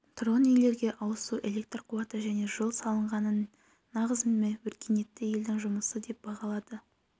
тұрғын үйлерге ауыз су электр қуаты және жол салынғанын нағыз өркениетті елдің жұмысы деп бағалады